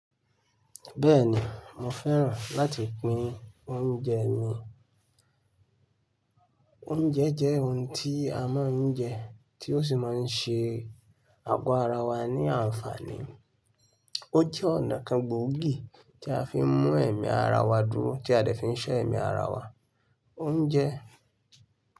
Bẹ́ẹ̀ni, mo fẹ́ràn láti pín oúnjẹ mi. Oúnjẹ jẹ́ ohun tí a máa ń jẹ tó sì máa ń ṣe àgo ara ara wa ní àǹfààní. Ó jẹ́ ọ̀nà kan gbòógì tí a fi ń mú ẹ̀mí ara wa dúró, tí a dè fi ń ṣọ́ ẹ̀mí ara wa. Oúnjẹ.